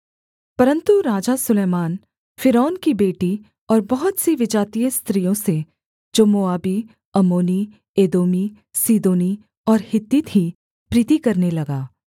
परन्तु राजा सुलैमान फ़िरौन की बेटी और बहुत सी विजातीय स्त्रियों से जो मोआबी अम्मोनी एदोमी सीदोनी और हित्ती थीं प्रीति करने लगा